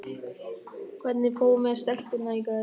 Hvernig fór með stelpuna í gær?